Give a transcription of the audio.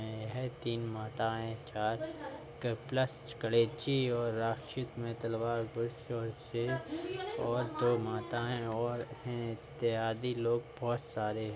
हैं यह तीन माताएँ चार प्लस में तलवार बहुत स से और दो माताएँ और ऐ इत्यादि लोग बहुत सारे --